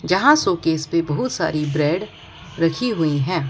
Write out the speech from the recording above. जहां शोकेस पे बहुत सारी ब्रेड रखी हुईं हैं।